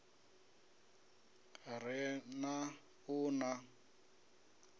re n ha u ḽa